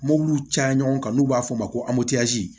Mobiliw caya ɲɔgɔn kan n'u b'a f'o ma ko